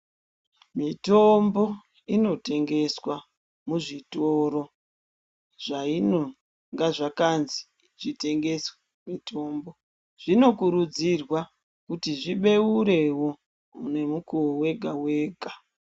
Mitombo inotengeswa muzvitoro zvainonga zvakanzi zvitengeswe mutombo zvino kurudzirwa kuti zvibeurewo nemukuwo wega wega.